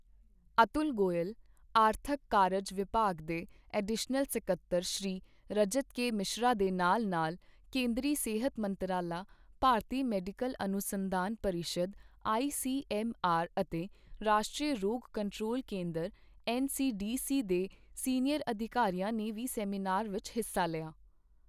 ਅਤੁਲ ਗੋਇਲ, ਆਰਥਕ ਕਾਰਜ ਵਿਭਾਗ ਦੇ ਐਡੀਸ਼ਨਲ ਸਕੱਤਰ ਸ਼੍ਰੀ ਰਜਤ ਕੇ ਮਿਸ਼ਰਾ ਦੇ ਨਾਲ ਨਾਲ ਕੇਂਦਰੀ ਸਿਹਤ ਮੰਤਰਾਲਾ, ਭਾਰਤੀ ਮੈਡੀਕਲ ਅਨੁਸੰਧਾਨ ਪਰਿਸ਼ਦ ਆਈਸੀਐੱਮਆਰ ਅਤੇ ਰਾਸ਼ਟਰੀ ਰੋਗ ਕੰਟਰੋਲ ਕੇਂਦਰ ਐੱਨਸੀਡੀਸੀ ਦੇ ਸੀਨੀਅਰ ਅਧਿਕਾਰੀਆਂ ਨੇ ਵੀ ਸੈਮੀਨਾਰ ਵਿੱਚ ਹਿੱਸਾ ਲਿਆ।